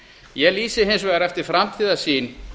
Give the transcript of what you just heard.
ég lýsi hins vegar eftir framtíðarsýn